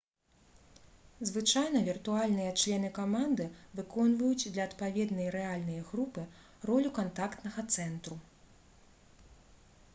звычайна віртуальныя члены каманды выконваюць для адпаведнай рэальнай групы ролю кантактнага цэнтру